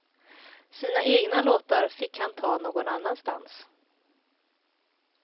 Sina egna låtar fick han ta någon annanstans.